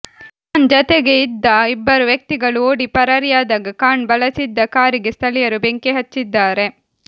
ಖಾನ್ ಜತೆಗೆ ಇದ್ದ ಇಬ್ಬರು ವ್ಯಕ್ತಿಗಳು ಓಡಿ ಪರಾರಿಯಾದಾಗ ಖಾನ್ ಬಳಸಿದ್ದ ಕಾರಿಗೆ ಸ್ಥಳೀಯರು ಬೆಂಕಿ ಹಚ್ಚಿದ್ದಾರೆ